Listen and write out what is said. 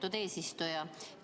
Austatud eesistuja!